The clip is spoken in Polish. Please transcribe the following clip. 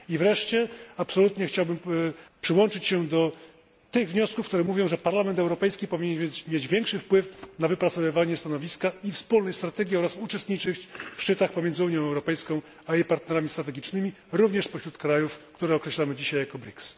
I wreszcie absolutnie chciałbym przyłączyć się do tych wniosków, które mówią, że Parlament Europejski powinien mieć większy wpływ na wypracowywanie stanowiska i wspólne strategie oraz uczestniczyć w szczytach pomiędzy Unią Europejską a jej partnerami strategicznymi, również spośród krajów, które określamy dzisiaj jako BRICS.